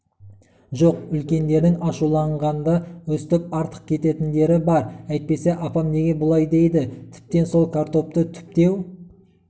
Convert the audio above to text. жоқ үлкендердің ашуланғанда өстіп артық кететіндері бар әйтпесе апам неге бұлай дейді тіптен сол картопты түптеу